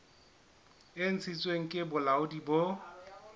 e ntshitsweng ke bolaodi bo